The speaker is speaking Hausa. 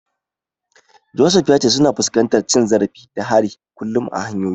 Joseph ya ce suna fuskantar cin zarafi da hari kullum a hanyoyi.